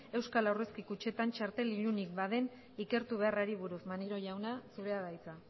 euskal aurrezki kutxetan txartel ilunik baden ikertu beharrari buruz maneiro jauna zurea da hitza